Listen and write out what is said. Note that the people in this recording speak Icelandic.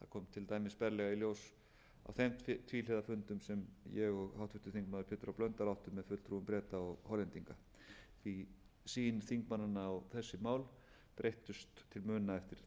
til dæmis berlega í ljós á þeim tvíhliða fundum sem ég og háttvirtur þingmaður pétur h blöndal áttum með fulltrúum breta og hollendinga því sýn þingmannanna á þessi mál breyttist til muna eftir þær samræður